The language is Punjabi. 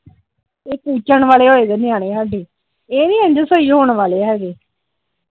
ਇਹ ਕੁਚਣ ਵਾਲੇ ਹੋਏ ਨਿਆਣੇ ਸਾਡੇ ਇਹ ਨੀ ਇੰਜ ਸਹੀ ਹੋਣ ਵਾਲੇ ਹੈਗੇ ।